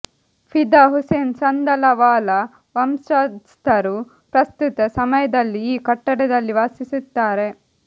ಫಿದಾ ಹುಸೇನ್ ಸಂದಲವಾಲ ವಂಶಸ್ಥರು ಪ್ರಸ್ತುತ ಸಮಯದಲ್ಲಿ ಈ ಕಟ್ಟಡದಲ್ಲಿ ವಾಸಿಸುತ್ತಾರೆ